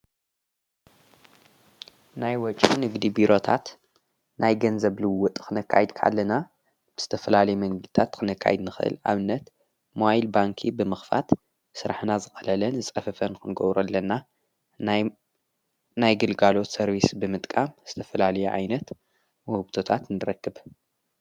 ናይ ወጭ ንግዲ ቢሮታት ናይ ገንዘብልዎ ጥኽነካይድ ካለና ብስተፍላሌ መንግልታት ኽነካይድ ንኽህል ኣብነት ማይል ባንኪ ብምኽፋት ሥራሕናት ዝቐለለን ዝጸፍፈን ኮንጐብሩ ኣለና ናይ ግልጋሎት ሰርቢስ ብምጥቃም ብስተፍላል ኣይነት መህብቶታት እንድረክብ።